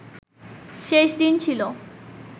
শেষ দিন ছিল